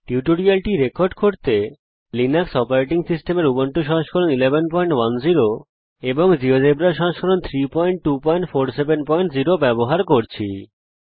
এই টিউটোরিয়ালটি রেকর্ড করার জন্যে আমি লিনাক্স অপারেটিং সিস্টেমের উবুন্টু সংস্করণ 1110 জীয়োজেব্রা সংস্করণ 32470 ব্যবহার করছি